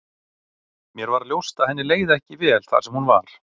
Mér varð ljóst að henni leið ekki vel þar sem hún var.